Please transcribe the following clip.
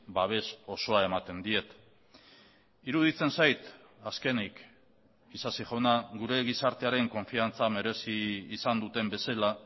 babes osoa ematen diet iruditzen zait azkenik isasi jauna gure gizartearen konfiantza merezi izan duten bezala